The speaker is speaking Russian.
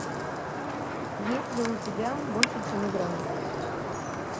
есть ли у тебя больше чем игра